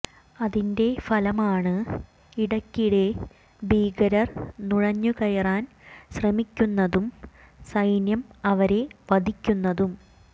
അതിന്റെ ഫലമാണ് ഇടയ്ക്കിടെ ഭീകരർ നുഴഞ്ഞു കയറാൻ ശ്രമിക്കുന്നതും സൈന്യം അവരെ വധിക്കുന്നതും